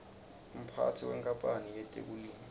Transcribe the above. umphatsi wenkapanl yetekulima